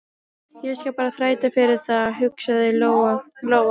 Ég skal bara þræta fyrir það, hugsaði Lóa-Lóa.